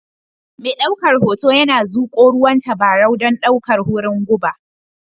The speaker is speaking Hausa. Mai daukar hoto yana zuƙowa ruwan tabarau don ɗaukar wurin guba